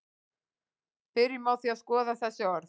byrjum á því að skoða þessi orð